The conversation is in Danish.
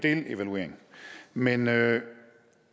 delevaluering men med